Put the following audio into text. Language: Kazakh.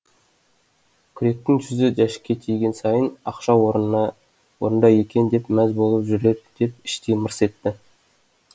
күректің жүзі жәшікке тиген сайын ақша орнында екен деп мәз болып жүрер деп іштей мырс етті